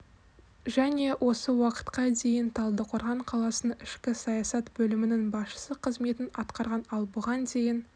және осы уақытқа дейін талдықорған қаласының ішкі саясат бөлімінің басшысы қызметін атқарған ал бұған дейін